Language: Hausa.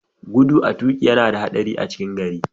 Gudu a toƙi yana da haɗari a cikin gari.